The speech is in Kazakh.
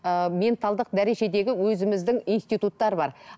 ыыы менталдық дәрежедегі өзіміздің институттар бар